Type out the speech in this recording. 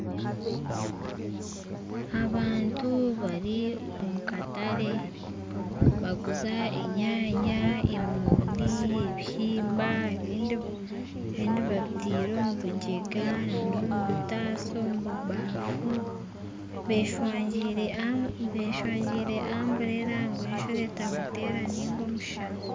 Abantu bari omu katare nibaguza enyanya, emoondi, ebihimba ebindi babitaire omu bigyenga omu bitaasa omubibafu beshangire amburera ngu ejura etabateera niga omushana